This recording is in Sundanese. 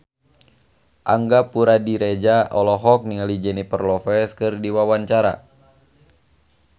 Angga Puradiredja olohok ningali Jennifer Lopez keur diwawancara